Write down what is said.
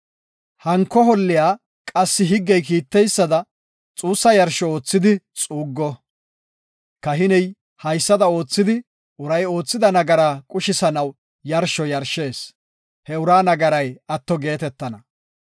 Hanko holliya qassi higgey kiiteysada xuussa yarsho oothidi xuuggo. Kahiney haysada oothidi, uray oothida nagaraa qushisanaw yarsho yarshees; he uraa nagaray atto geetetana.